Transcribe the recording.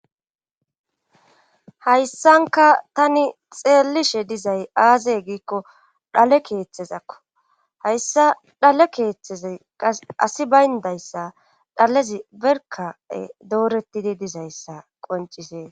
hayssanka tani xeelishe dizay aazey giikko dhale keeththezakko hayssa dhale keeththezay qas asi bayndayssa dhalezi berka ee doorettidi dizayssa qoncisee